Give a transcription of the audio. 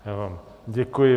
Já vám děkuji.